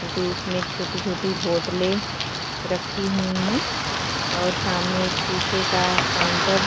क्यूंकि उसमे छोटी-छोटी बोटलें रखी हुई हैं और सामने एक शीशे का काउंटर --